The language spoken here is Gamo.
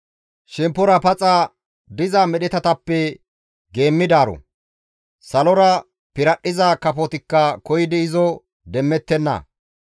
Shemppora paxa diza medhetatappe geemmidaaro; salora piradhdhiza kafotikka koyidi izo demmettenna.